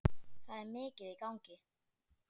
Það er mikið í gangi.